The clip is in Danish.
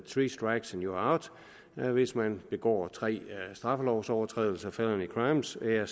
strikes and you are out hvis man begår tre straffelovsovertrædelser felony crimes er